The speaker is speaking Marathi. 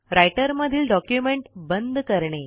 रायटरमधील डॉक्युमेंट बंद करणे